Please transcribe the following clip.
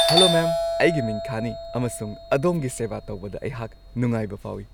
Hello ma'am , ꯑꯩꯒꯤ ꯃꯤꯡ ꯈꯥꯟꯅꯤ ꯑꯃꯁꯨꯡ ꯑꯗꯣꯝꯒꯤ ꯁꯦꯕꯥ ꯇꯧꯕꯗ ꯑꯩꯍꯥꯛ ꯅꯨꯡꯉꯥꯏꯕ ꯐꯥꯎꯏ꯫